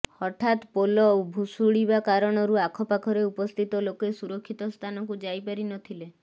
ହଠାତ୍ ପୋଲ ଭୁଶୁଡିବା କାରଣରୁ ଆଖପାଖରେ ଉପସ୍ଥିତ ଲୋକେ ସୁରକ୍ଷିତ ସ୍ଥାନକୁ ଯାଇ ପାରି ନ ଥିଲେ